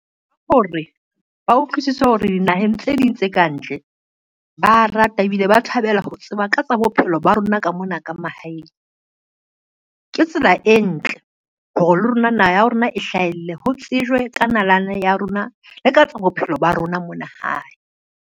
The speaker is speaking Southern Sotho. Hore ba utlwisise hore dinaheng tse ding tse kantle ba rata ebile ba thabela ho tseba ka tsa bophelo ba rona ka mona ka mahaeng. Ke tsela e ntle hore le rona naha ya rona e hlahelle, ho tsejwe ka nalane ya rona le ka tsa bophelo ba rona mona hae.